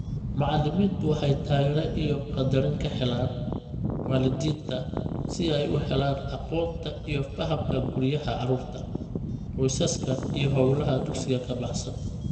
Macallimiintu waxay taageero iyo qaddarin ka helaan waalidiinta si ay u helaan aqoonta iyo fahamka guryaha carruurta, qoysaska iyo hawlaha dugsiga ka baxsan.